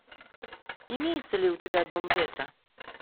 имеется ли у тебя дом ветра